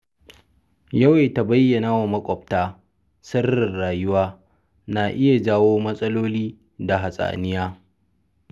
Yawaita bayyanawa maƙwabta sirrin rayuwa na iya jawo matsaloli da hatsaniya.